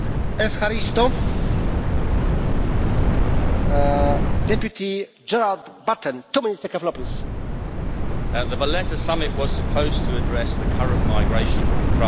Mr President, the Valletta summit was supposed to address the current migration crisis from Africa, the Middle East and beyond. Now, the causes of migration are poverty and conflict.